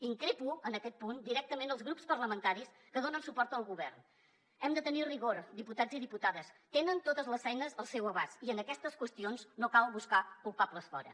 increpo en aquest punt directament els grups parlamentaris que donen suport al govern hem de tenir rigor diputats i diputades tenen totes les eines al seu abast i en aquestes qüestions no cal buscar culpables fora